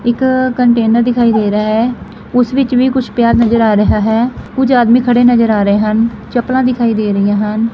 ਇੱਕ ਕੰਟੇਨਰ ਦਿਖਾਈ ਦੇ ਰੇਹਾ ਹੈ ਉਸ ਵਿੱਚ ਵੀ ਕੁਛ ਪਿਆ ਨਜਰ ਆ ਰਿਹਾ ਹੈ ਕੁਝ ਆਦਮੀ ਖੜੇ ਨਜ਼ਰ ਆ ਰਹੇ ਹਨ ਚੱਪਲਾਂ ਦਿਖਾਈ ਦੇ ਰਹੀਆਂ ਹਨ।